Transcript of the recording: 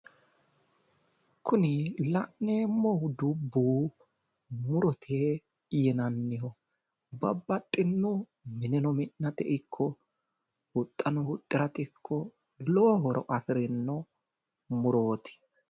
kuni la'neemmohu dubbu murote yinanniho babbaxino mineno mi.nate ikko huxxano huxxirate ikko lowo horo afirinno murooti.